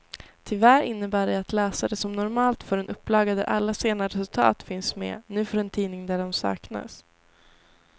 Tyvärr innebär det att läsare som normalt får en upplaga där alla sena resultat finns med, nu får en tidning där de saknas.